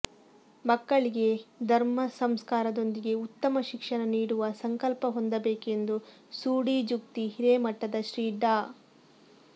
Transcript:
ಮಕ್ಕಳಿಗೆ ಧರ್ಮಸಂಸ್ಕಾರದೊಂದಿಗೆ ಉತ್ತಮ ಶಿಕ್ಷಣ ನೀಡುವ ಸಂಕಲ್ಪ ಹೊಂದಬೇಕೆಂದು ಸೂಡಿ ಜುಕ್ತಿ ಹಿರೇಮಠದ ಶ್ರೀ ಡಾ